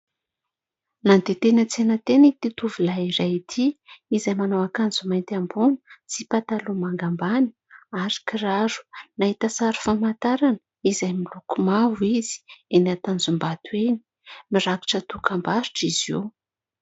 Nandeha teny an-tsena teny ity tovolahy iray ity izay manao akanjo mainty ambony sy pataloha manga ambany ary kiraro. Nahita sary famantarana izay miloko mavo izy, eny Tanjombato eny. Mirakitra dokam-barotra izy io.